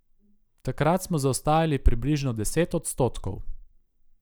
Takrat smo zaostajali približno deset odstotkov.